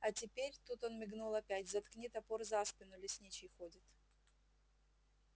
а теперь тут он мигнул опять заткни топор за спину лесничий ходит